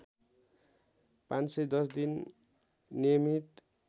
५१० दिन नियमित